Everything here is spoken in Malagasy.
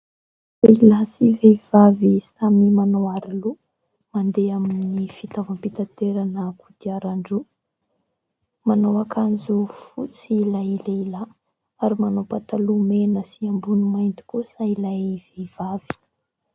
Lehilahy sy vehivavy samy manao aroloha mandeha amin'ny kodiaran-droa. Manao akanjo fotsy ilay lehilahy ary manao pataloha mena sy ambony mainty kosa ilay vehivavy.